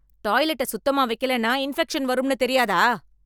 டாய்லெட்ட சுத்தமா வைக்கலன்னா இன்பெக்சன் வரும்னு தெரியாதா